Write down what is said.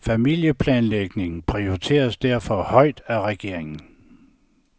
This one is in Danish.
Familieplanlægning prioriteres derfor højt af regeringen.